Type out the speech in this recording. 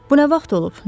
Bu nə vaxt olub?